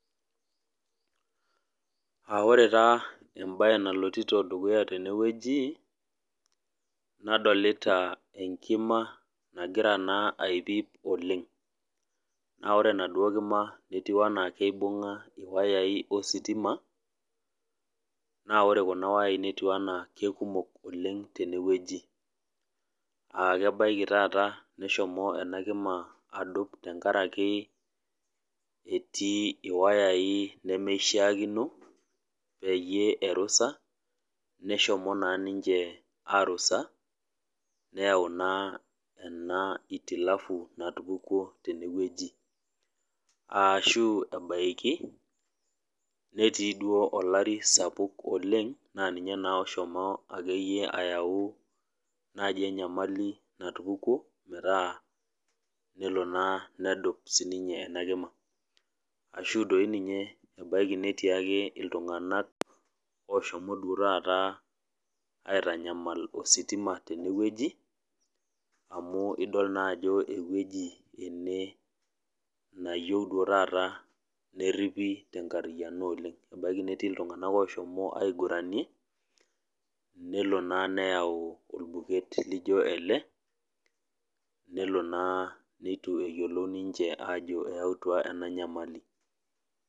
Ah ore taa ebae nalotito dukuya tenewueji, nadolita enkima nagira naa aipyip oleng. Na ore enaduo kima netiu enaa keibung'a iwayai ositima, naa ore kuna wayai netiu enaa kekumok oleng tenewueji. Ah kebaiki taata neshomo enakima adup tenkaraki etii iwayai nemeshaakino, peyie erusa, neshomo naa ninche arusa, neu naa ena itilafu natupukuo tenewueji. Ashu ebaiki, netii duo olari sapuk oleng na ninye naa oshomo akeyie ayau naji enyamali natupukuo metaa, nelo naa nedup sininye inakima. Ashu doi ninye ebaiki netii ake iltung'anak oshomo duo taata aitanyamal ositima tenewueji, amu idol naa ajo ewueji ene nayieu duo taata nerripi tenkarriyiano oleng. Ebaiki netii iltung'anak oshomo aiguranie, nelo naa neyau orbuket lijo ele, nelo naa nitu eyiolou ninche ajo eyautua ena nyamali.